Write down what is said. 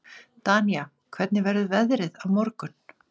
Danía, hvernig verður veðrið á morgun?